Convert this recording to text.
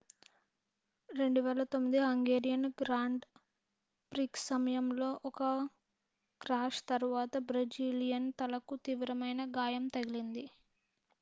2009 Hungarian grand prix సమయంలో ఒక crash తరువాత బ్రెజిలియన్ తలకు తీవ్రమైన గాయం తగిలింది